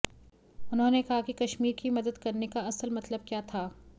उन्होंने कहा कि कश्मीर की मदद करने का असल मतलब क्या था